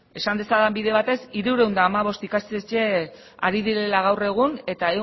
esan dezadan bide batez hirurehun eta hamabost ikastetxe ari direla gaur egun eta